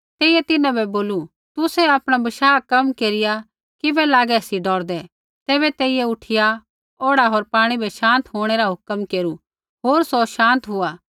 तेइयै तिन्हां बै बोलू तुसै आपणा बशाह कम केरिया किबै लागै सी डौरदै तैबै तेइयै उठिया औढ़ा होर पाणी बै शान्त होंणै रा हुक्म केरू होर सौ शान्त हुआ